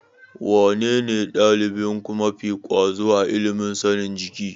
Wanene ɗalibinku mafi ƙwazo a ilimin sanin jiki?